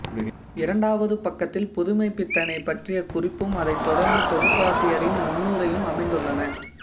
இரண்டாவது பக்கத்தில் புதுமைப்பித்தனைப் பற்றிய குறிப்பும் அதைத் தொடர்ந்து தொகுப்பாசிரியரின் முன்னுரையும் அமைந்துள்ளன